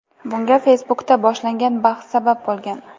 Bunga Facebook’da boshlangan bahs sabab bo‘lgan.